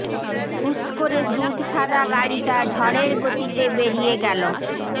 হুশ করে দুধ সাদা গাড়িটা ঝড়ের গতিতে বেড়িয়ে গেল